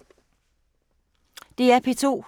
DR P2